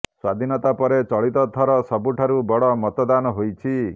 ସ୍ୱାଧୀନତା ପରେ ଚଳିତ ଥର ସବୁଠାରୁ ବଡ଼ ମତଦାନ ହୋଇଛି